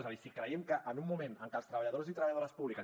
és a dir si creiem que en un moment en què els treballadors i treballadores públiques